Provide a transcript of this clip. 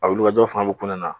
A wililkajɔ faŋa be kun ne na.